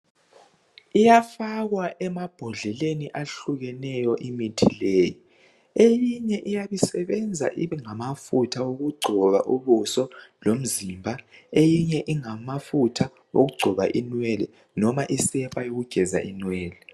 Iyafakwa emabhondleleni ahlukeneyo imithi leyi eyinye iyabe isebenza ingamafutha okugcoba ubuso lomzimba eyinye ingamafutha okugcoba inwele noma isepa yokugeza inwele.